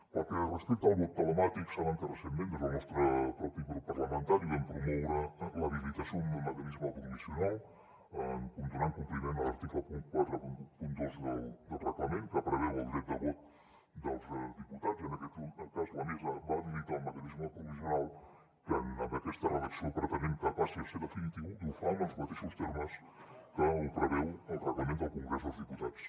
pel que respecta al vot telemàtic saben que recentment des del nostre propi grup parlamentari vam promoure l’habilitació un mecanisme provisional donant compliment a l’article quaranta dos del reglament que preveu el dret de vot dels diputats i en aquest cas la mesa va habilitar un mecanisme provisional que amb aquesta redacció pretenem que passi a ser definitiu i ho fa amb els mateixos termes que ho preveu el reglament del congrés dels diputats